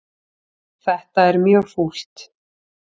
Þetta er mjög fúlt.